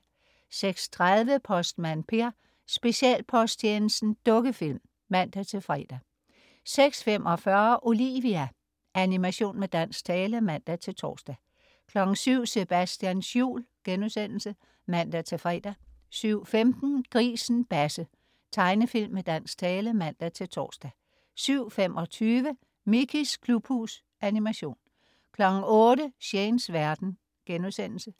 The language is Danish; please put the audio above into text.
06.30 Postmand Per: Specialposttjenesten. Dukkefilm (man-fre) 06.45 Olivia. Animation med dansk tale (man-tors) 07.00 Sebastians jul* (man-fre) 07.15 Grisen Basse. Tegnefilm med dansk tale (man-tors) 07.25 Mickeys klubhus. Animation 08.00 Shanes verden*